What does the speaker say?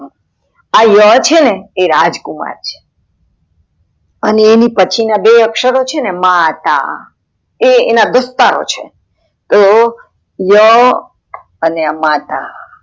આ ય છેને એ રાજકુમાર છે અને એની પછી ના બે અક્ષર છે ને મા, તા એ એના દોસ્તારો છે તો ય અને મા, આ તા